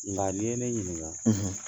Nka ni ye ne ɲininka